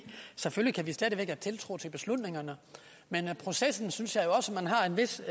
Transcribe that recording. selvfølgelig kan vi stadig væk have tiltro til beslutningerne men processen synes jeg også man har et vist